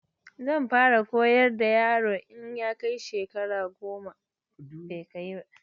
Zan fara horar da yaron in ya kai shekara goma a duniya.